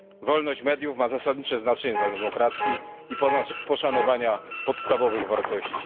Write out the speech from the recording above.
Wolność mediów ma zasadnicze znaczenie dla demokracji i poszanowania podstawowych wartości.